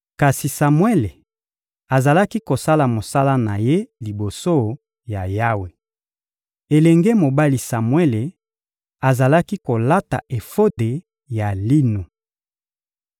Kasi Samuele azalaki kosala mosala na ye liboso ya Yawe. Elenge mobali Samuele azalaki kolata efode ya lino.